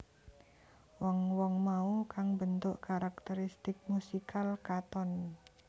Wong wong mau kang mbentuk karakteristik musikal Katon